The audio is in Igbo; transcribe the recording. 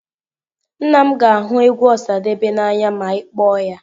Nna m ga ahu egwu Osadebe n'anya ma i kpoo ya.